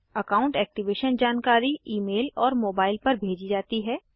account activation जानकारी email और mobile पर भेजी जाती है